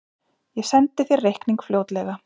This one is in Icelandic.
Ég sendi þér reikning fljótlega.